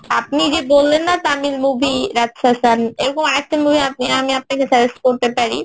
আপনি যে বললেন না তামিল movie রাজশাসন এরকম আরেকটা movie আপনি আমি আপনাকে suggest করতে পারি